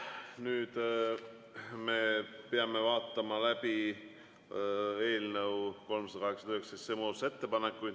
Nüüd me peame vaatama läbi eelnõu 389 muudatusettepanekud.